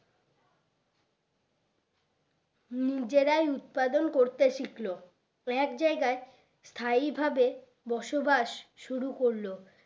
নিজেরাই উৎপাদন করতে শিখলো এক জায়গায় স্থায়ী ভাবে বসবাস শুরু করলো